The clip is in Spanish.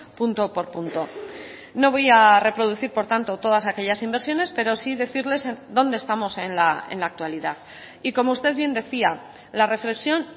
punto por punto no voy a reproducir por tanto todas aquellas inversiones pero sí decirles dónde estamos en la actualidad y como usted bien decía la reflexión